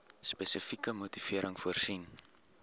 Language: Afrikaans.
spesifieke motivering voorsien